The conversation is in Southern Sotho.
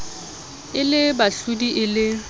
e le bahlodi e le